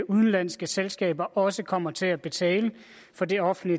udenlandske selskaber også kommer til at betale for det offentlige